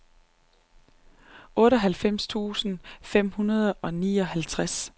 otteoghalvfems tusind fem hundrede og nioghalvtreds